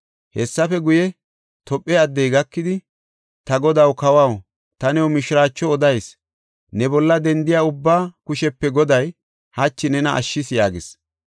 Hessafe guye, Tophe addey gakidi, “Ta godaw, kawaw, ta new mishiraacho odayis! Ne bolla dendiya ubbaa kushepe Goday hachi nena ashshis” yaagis.